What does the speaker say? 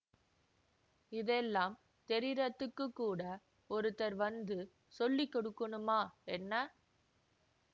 இதெல்லாம் தெரியறத்துக்குக்கூட ஒருத்தர் வந்து சொல்லி கொடுக்கணுமா என்ன